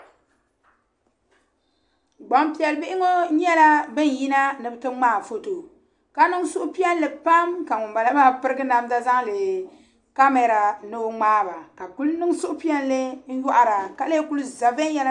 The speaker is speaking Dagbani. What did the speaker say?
Gbanpiɛli bihi ŋɔ nyela ban yi na ni be ti ŋmai foto ka niŋ suhupiɛlli pam ka ŋun bala maa pirigi namda lɛɛ kamara ni o ŋmai ba ka kuli niŋ suhupiɛlli n yohi ra ka lɛɛ Kuli za viɛnyala.